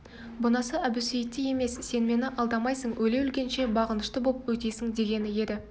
бұнысы әбусейіттей емес сен мені алдамайсың өле-өлгенше бағынышты боп өтесің дегені еді